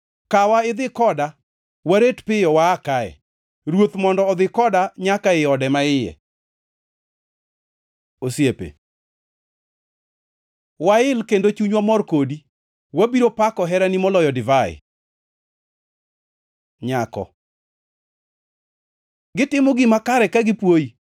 Kawa idhi koda, waret piyo waa kae! Ruoth mondo odhi koda nyaka ei ode maiye. Osiepe Wail kendo chunywa mor kodi; wabiro pako herani moloyo divai. Nyako Gitimo gima kare ka gipuoyi!